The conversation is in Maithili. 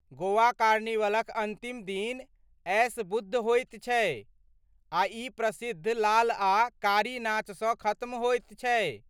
गोवा कार्निवलक अन्तिम दिन ऐश बुध होयत छै आ ई प्रसिद्ध लाल आ कारी नाचसँ खत्म होयत छै।